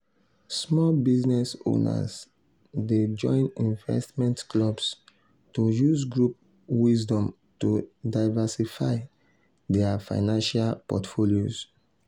small business owners dey join investment clubs to use group wisdom to diversify dia financial portfolios.